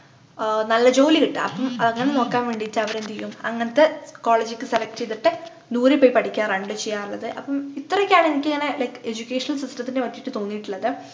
ആഹ് നല്ല ജോലി കിട്ടാൻ അങ്ങനെ നോക്കാൻ വേണ്ടീട്ട് അവരെന്ത്ചെയ്യും അങ്ങനത്തെ college ക്കു select ചെയ്തിട്ട് ദൂരെ പോയി പഠിക്കാറാനെട്ടോ ചെയ്യാറുള്ളത് അപ്പം ഇത്രയൊക്കെയാണ് എനിക്കിങ്ങനെ like education system ത്തിനെപ്പറ്റിട്ട് തോന്നിട്ടുള്ളത്